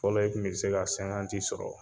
Fɔlɔ ye kun bɛ se ka sɔrɔ